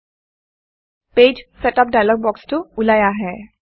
page setup page setup dialog বক্সটো ওলাই আহে